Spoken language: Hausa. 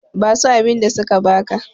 basu abinda suka baka!